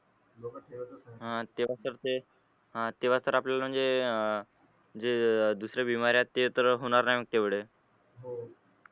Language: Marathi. हा तेव्हा तर ते तेव्हा तर आपल्याला म्हणजे अह जे अह दुसरे बिमारी आहेत ते तर होणार नाही मग तेवढे